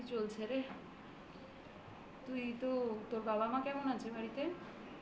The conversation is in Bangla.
তুই তো তোর বাবা মা কেমন আছে বাড়িতে?